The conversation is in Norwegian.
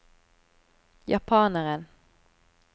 japaneren